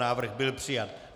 Návrh byl přijat.